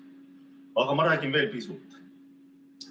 Aga ma räägin veel pisut.